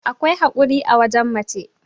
akwai haƙuri a wajen mace